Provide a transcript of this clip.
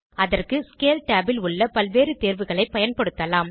அதற்கு scale tab ல் உள்ள பல்வேறு தேர்வுகளை பயன்படுத்தலாம்